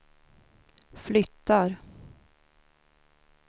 flyttar